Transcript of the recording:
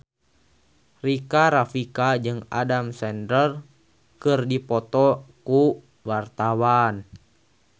Rika Rafika jeung Adam Sandler keur dipoto ku wartawan